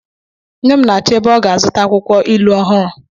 Nne m na-achọ ebe ọ ga-azụta akwụkwọ ilu ọhụrụ.